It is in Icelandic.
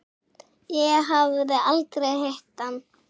Ég hafði aldrei hitt hann.